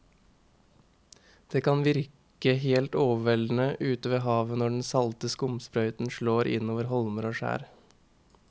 Det kan virke helt overveldende ute ved havet når den salte skumsprøyten slår innover holmer og skjær.